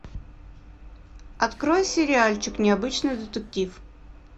открой сериальчик необычный детектив